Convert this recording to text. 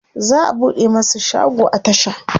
za'a buɗe masu shago a tasha